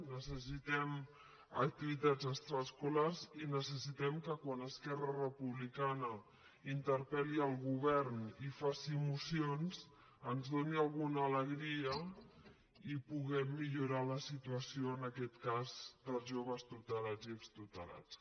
necessitem activitats extraescolars i necessitem que quan esquerra republicana interpelmocions ens doni alguna alegria i puguem millorar la situació en aquest cas dels joves tutelats i extutelats